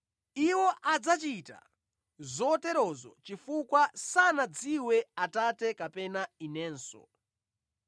Iwo adzachita zoterozo chifukwa sanadziwe Atate kapena Inenso.